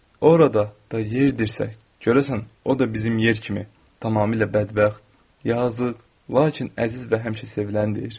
O orada da yerdirsə, görəsən o da bizim yer kimi tamamilə bədbəxt, yazıq, lakin əziz və həmişə seviləndir?